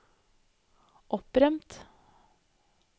opprømt